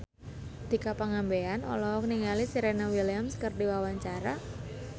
Tika Pangabean olohok ningali Serena Williams keur diwawancara